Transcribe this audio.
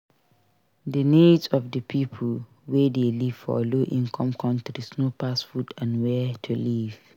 Di needs of di Pipo wey dey live for low income countries no pass food and where to live